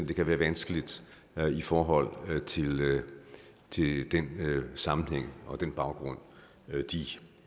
det kan være vanskeligt i forhold til den sammenhæng og den baggrund